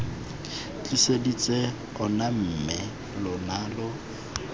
tliseditse ona mme lona lo